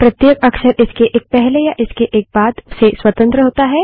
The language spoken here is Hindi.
प्रत्येक अक्षर इसके एक पहले या इसके एक बाद से स्वतंत्र होता है